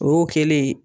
O y'o kɛlen ye